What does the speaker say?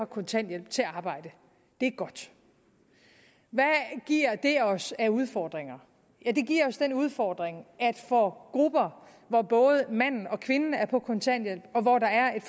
kontanthjælp til at arbejde det er godt hvad giver det os af udfordringer udfordringer for grupper hvor både manden og kvinden er på kontanthjælp og hvor der er